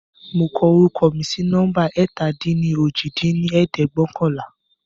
Mo kọ orúkọ mi sí numba ẹ̀ta-dín-ní-ojì dín ní ẹ̀ẹ́dẹ́gbẹ́ọ̀kànlá